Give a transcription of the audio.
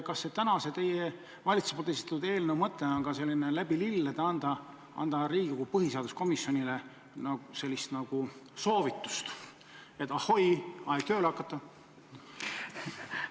Kas selle teie valitsuse esitatud eelnõu mõte on selline, et läbi lillede anda Riigikogu põhiseaduskomisjonile nagu soovitus, et ahoi, aeg on tööle hakata?